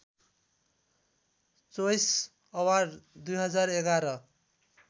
choice award २०११